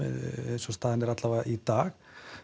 eins og staðan er alla vega í dag